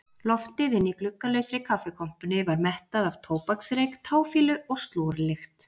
Loftið inni í gluggalausri kaffikompunni var mettað af tóbaksreyk, táfýlu og slorlykt.